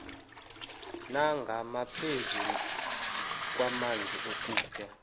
nangaphezu kwamanzi nokutya